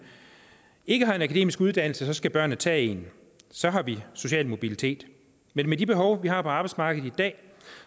ikke har en akademisk uddannelse skal børnene tage en så har vi social mobilitet men med de behov vi har på arbejdsmarkedet i dag